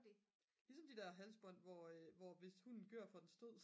ligesom de der halsbånd hvor hvis hunden gør så får den stød